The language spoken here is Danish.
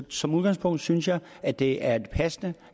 som udgangspunkt synes jeg at det er passende